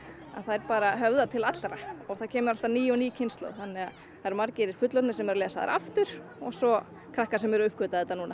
þær bara höfða til allra og það kemur alltaf ný og ný kynslóð þannig að það eru margir fullorðnir sem eru að lesa þær aftur og svo krakkar sem eru að uppgötva þetta núna